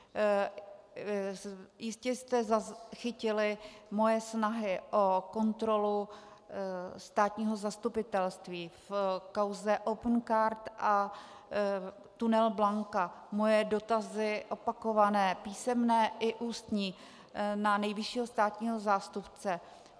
Jistě jste zachytili moje snahy o kontrolu státního zastupitelství v kauze Opencard a tunel Blanka, moje dotazy, opakované, písemné i ústní, na nejvyššího státního zástupce.